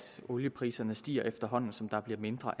oliepriserne stiger efterhånden som der bliver mindre